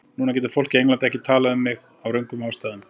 Núna getur fólk á Englandi ekki talað um mig af röngum ástæðum.